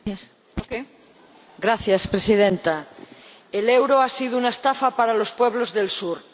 Señora Presidenta, el euro ha sido una estafa para los pueblos del Sur.